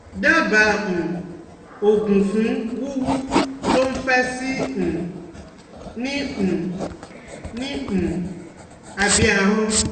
Daba um oogun fun wuwu to n fe si um ni um ni um abe ahon?